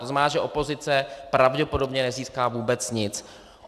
To znamená, že opozice pravděpodobně nezíská vůbec nic.